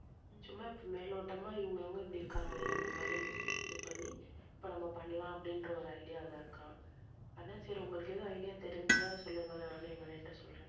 சும்மா இப்போ மேலோட்டம்மா இவங்க இவங்க இப்படி இருக்காங்களே அந்த மாதிரி இது பண்ணி இப்போ நம்ம பண்ணலாம் அப்படின்ற ஒரு idea ல இருக்கான் அதான் சரி உங்களுக்கு எதாவது idea தெரிஞ்சா சொல்லுங்க நானும் எங்க அண்ணா கிட்ட சொல்றேன்.